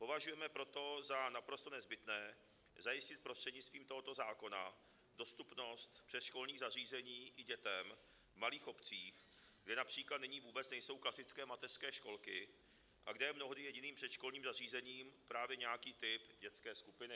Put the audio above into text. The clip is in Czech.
Považujeme proto za naprosto nezbytné zajistit prostřednictvím tohoto zákona dostupnost předškolních zařízení i dětem v malých obcích, kde například nyní vůbec nejsou klasické mateřské školky a kde je mnohdy jediným předškolním zařízením právě nějaký typ dětské skupiny.